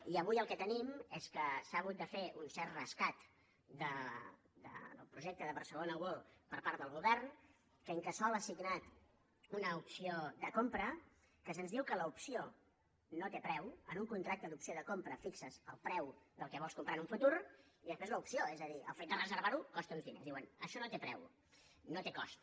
i avui el que tenim és que s’ha hagut de fer un cert rescat del projecte de barcelona world per part del govern que incasòl ha signat una opció de compra que se’ns diu que l’opció no té preu en un contracte d’opció de compra fixes el preu del que vols comprar en un futur i després l’opció és a dir el fet de reservar ho costa uns diners i diuen això no té preu no té cost